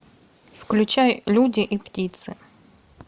включай люди и птицы